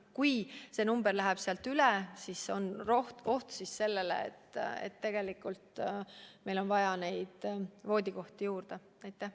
Kui nakatumisnumber läheb teatud piirist üle, siis on oht, et meil on voodikohti juurde vaja.